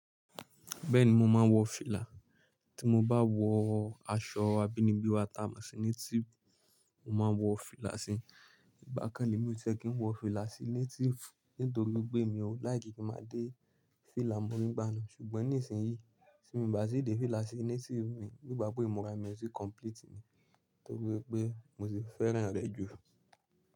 Bẹ́ẹ̀ni mo máa ń wọ fìlà. Tí mo bá wọ aṣọ abínibí wáta mo si native, mo máa n wọ fìlà sí i. Ìgbákan lemi ò tiẹ́ kìn wọ fìlà sí nátíve nítorí pé mi ò láìkí ki n máa dé fìlà mọ́ nígbà náà. Ṣùgbọ́n nísìnyí tí mi n bá tí dé fìlà sí nátíve mi bígbàpe imura mí o ti kọ̀mplíìtì ni, torí wipé mo tì fẹ́ràn rẹ̀ jù.